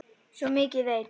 Svo mikið veit